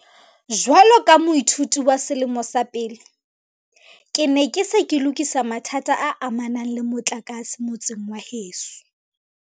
"Jwalo ka moithuti wa selemo sa pele, ke ne ke se ke lokisa mathata a amanang le motlakase motseng wa heso."